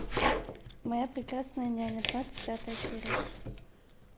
моя прекрасная няня двадцать пятая серия